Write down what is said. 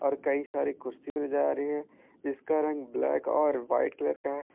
और कई सारी कुर्सी भी नजर आ रही है जिसका रंग ब्लैक और व्हाइट कलर का है।